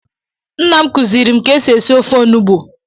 Nna m kuziri m ka esi esi ofe onubu.